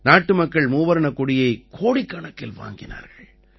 நாட்டு மக்கள் மூவர்ணக் கொடியை கோடிக்கணக்கில் வாங்கினார்கள்